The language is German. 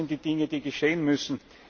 wollen. Das sind die Dinge, die geschehen